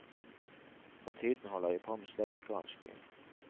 For tiden holder jeg på med slektsgransking.